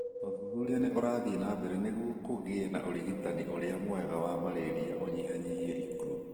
Ũthuthuria nĩ ũrathiĩ na mbere nĩguo kũgie na ũrigitani ũrĩa mwega wa malaria ũnyihanyihie ikuũ